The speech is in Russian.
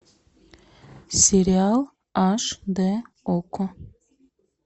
сериал аш дэ окко